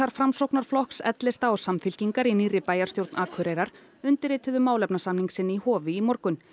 Framsóknarflokks l lista og Samfylkingar í nýrri bæjarstjórn Akureyrar undirrituðu málefnasamning sinn í Hofi í morgun